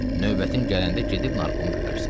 Növbətin gələndə gedib narkomu görərsən.